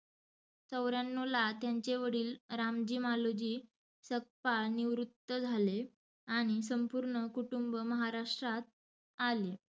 चौऱ्यांनावला त्यांचे वडिल रामजी मालोजी सकपाळ निवृत्त झाले आणि संपुर्ण कुटूंब महाराष्ट्रात आले.